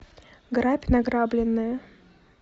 грабь награбленное